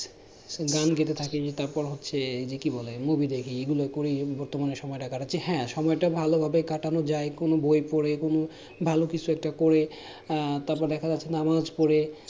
so গান গাইতে থাকি তারপর হচ্ছে যে কি বলে movie দেখি এই গুলো করেই বর্তমানে সময়টা কাটাচ্ছি হ্যাঁ সময়টা ভালো ভাবেই কাটানো যায় কোনো বই পরে কোনো ভালো কিছু একটা করে উম তারপর দেখা যাচ্ছে নামাজ পরে